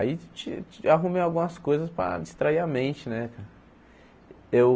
Aí ti ti arrumei algumas coisas para distrair a mente, né? Eu